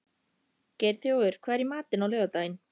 Geirþjófur, hvað er í matinn á laugardaginn?